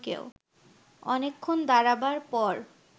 অনেকক্ষণ দাঁড়াবার পর